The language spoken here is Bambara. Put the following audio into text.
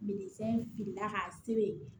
firila k'a sere